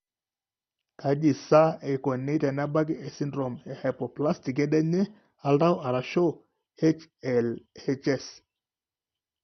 Kaji sa eikoni tenebaki esindirom ehypoplastic kedienye oltau (HLHS)?